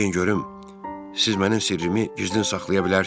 Deyin görüm, siz mənim sirrimi gizlin saxlaya bilərsiniz?